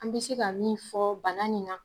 An bɛ se ka min fɔ bana nin na